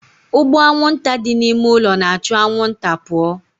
Ụgbụ anwụnta dị n'ime ime ụlọ na-achụ anwụnta pụọ